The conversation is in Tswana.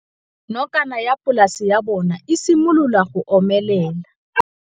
Nokana ya polase ya bona, e simolola go omelela.